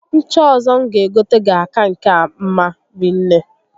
Ncha ọzọ m ga egote ga-aka nke a mma rinne